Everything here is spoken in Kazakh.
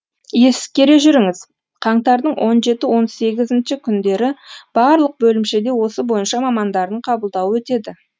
ескере жүріңіз қаңтардың он жеті он сегізінші күндері барлық бөлімшеде осы бойынша мамандардың қабылдауы өтеді